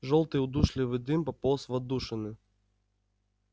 жёлтый удушливый дым пополз в отдушины